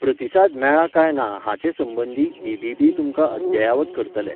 प्रतिसाद मेळ्ळा काय ना हाचे संबंदी बी.बी.बी. तुमकां अद्ययावत करतले.